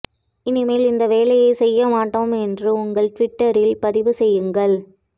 இனிமேல் இந்த வேலையை செய்ய மாட்டோம் என்று உங்கள் டிவிட்ட்ரில் பதிவு செய்யுங்கள்